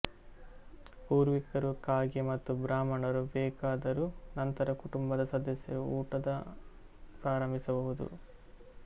ಪೂರ್ವಿಕರು ಕಾಗೆ ಮತ್ತು ಬ್ರಾಹ್ಮಣರು ಬೇಕಾದರೂ ನಂತರ ಕುಟುಂಬದ ಸದಸ್ಯರು ಊಟದ ಪ್ರಾರಂಭಿಸಬಹುದು